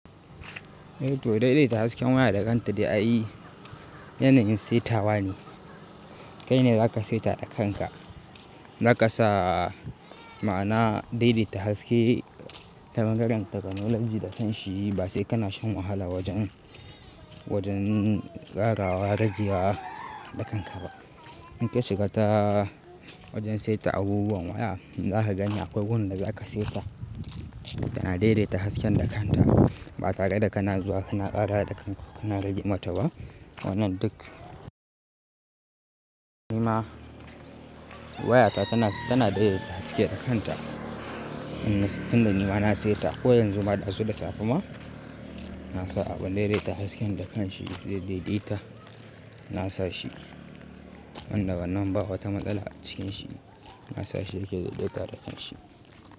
Eh to daidaita hasken waya da kanta ai yanayin saitawa ne. Kai ne za ka saita da kanka. Za ka sa ma'ana daidaita haske ta bangaren technology da kanshi ba sai kana shan wahala wajen, wajen ƙarawa, rageya da kanka ba. In ka shiga ta wajen saita abubuwan waya, za ka gani akwai gonan da za ka saita tana daidaita hasken da kanta. Ba tare da kana zuwa kana ƙarawa da kanka, kana rage mata ba. Wannan duk ni ma wayata tana, tana daidaita haske da kanta. Tunda ni ma na saita ko yanzu ma ɗazu da safe ma, na sa aɓon daidaita hasken da kanshi zai daidaita. Na sa shi wanda wannan bawata matsala a cikin shi. Na sa shi yake daidaita da kansa.